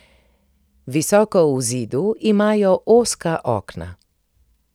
Visoko v zidu imajo ozka okna.